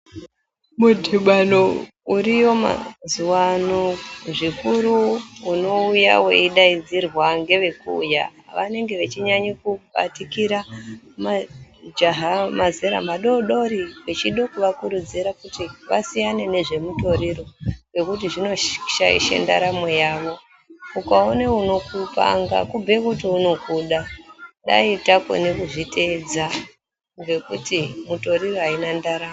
Mudhibano uriyo mazuwa ano zvikuru unouya weidaidzirwa ngevekuuya vanenge vechinyanye kubatikira majaha mazera madodori vechide kuvakurudzire kuti vasiyane nezvemutoriro nekuti zvinoshaishe ndaramo yavo ukaone unokupanga kubhuye kuti unokuda dai takone kuzviteedza ngekuti mitoriro haina ndaramo.